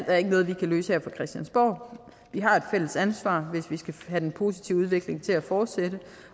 er ikke noget vi kan løse her på christiansborg vi har et fælles ansvar hvis vi den positive udvikling til at fortsætte